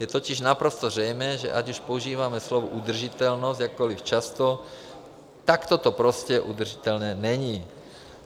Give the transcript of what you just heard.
Je totiž naprosto zřejmé, že ať už používáme slovo udržitelnost jakkoliv často, takto to prostě udržitelné není.